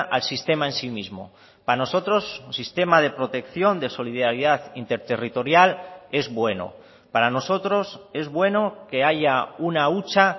al sistema en sí mismo para nosotros un sistema de protección de solidaridad interterritorial es bueno para nosotros es bueno que haya una hucha